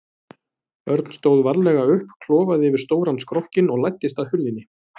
Örn stóð varlega upp, klofaði yfir stóran skrokkinn og læddist að hurðinni.